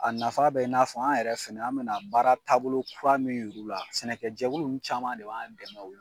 A nafa bɛ i n'a fɔ an yɛrɛ fɛnɛ an bɛna baara taabolo kura min yir'u la; sɛnɛkɛjɛkulu ninnu caman de b'a dɛmɛ ol